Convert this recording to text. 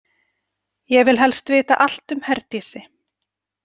Ég vil helst vita allt um Herdísi.